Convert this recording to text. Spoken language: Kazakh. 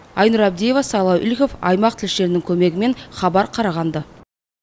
айнұр абдиева сайлау игіліков аймақ тілшілерінің көмегімен хабар қарағанды